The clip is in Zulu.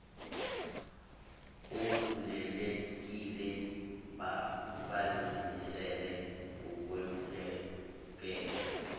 ovulelekile bazimisele ukwemukela